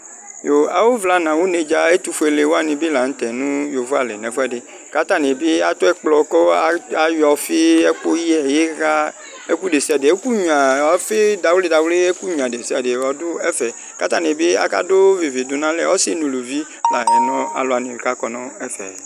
Yo, awuvla nʋ awunedzǝ ɛtʋfuele wani bɩ la nʋtɛ adu yovoali di nʋ ɛfʋɛdɩ, kʋ atani bɩ atɛ ɛkplɔ, kʋ ayɔ ɔfɩ, ɛkʋyɛ, iɣa, ɛkʋ desiade, ɛkʋnyʋa ɔfɩdawli dawli, ɛkʋnyʋa ɛkʋ desiade adu ɛfɛ Kʋ atani bɩ akadu vivi dʋ nʋ alɛ Asi nʋ uluvi lanʋ aluwani kʋ akɔ nʋ ɛfɛ